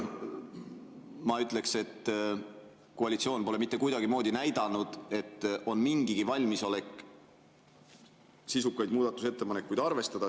Ma ütleks, et koalitsioon pole mitte kuidagimoodi näidanud, et on mingigi valmisolek sisukaid muudatusettepanekuid arvestada.